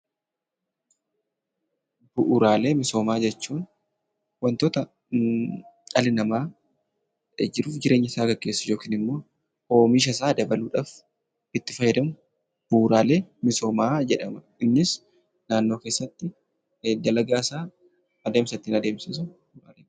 Bu'uuraalee misoomaa jechuun waantota dhalli namaa jiruu fi jireenya isaa gaggeessuuf yookaan immoo oomisha isaa dabaluudhaaf itti fayyadamu, bu'uuraalee misoomaa jedhama. Innis naannoo keessatti dalagaa isaa adeemsa ittiin adeemsifamudha.